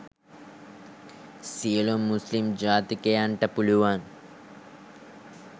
සියලුම මුස්‌ලිම් ජාතිකයන්ට පුළුවන්